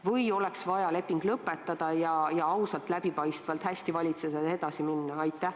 Või oleks vaja leping lõpetada ning ausalt ja läbipaistvalt hästi valitsedes edasi minna?